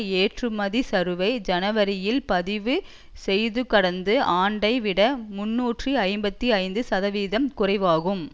ஏற்றுமதிச்சரிவை ஜனவரியில் பதிவு செய்ததுகடந்த ஆண்டை விட முன்னூற்று ஐம்பத்தி ஐந்து சதவிகிதம் குறைவாகும்